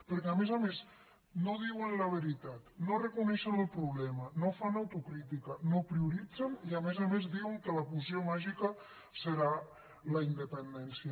perquè a més a més no diuen la veritat no reconeixen el problema no fan autocrítica no prioritzen i a més a més diuen que la poció màgica serà la independència